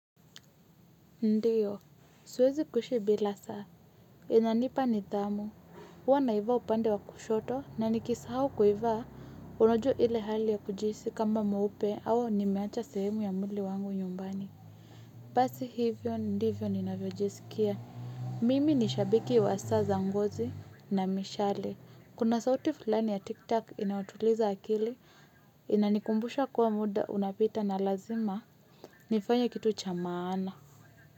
Ndio. Siwezi kuishi bila saa. Inanipa nidhamu. Huwa naivaa upande wa kushoto nanikisahau kuivaa unajua ile hali ya kujihisi kama mweupe au nimeacha sehemu ya mwili wangu nyumbani. Basi hivyo ndivyo ninavyojisikia. Mimi ni shabiki wa saa za ngozi na mishale. Kuna sauti fulani ya tiktak inatuliza akili inanikumbusha kuwa muda unapita na lazima. Nifanye kitu cha maana.